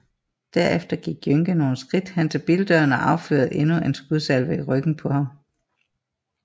Derefter gik Jønke nogle skridt hen til bildøren og affyrede endnu en skudsalve i ryggen på ham